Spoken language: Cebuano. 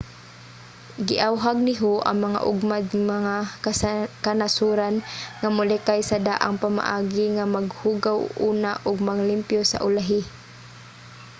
giawhag ni hu ang mga ugmad nga kanasoran nga molikay sa daang pamaagi nga maghugaw una ug manglimpyo sa ulahi.